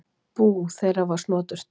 Bú þeirra var snoturt.